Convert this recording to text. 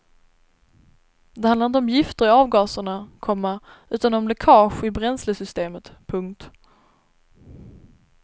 Det handlar inte om gifter i avgaserna, komma utan om läckage i bränslesystemet. punkt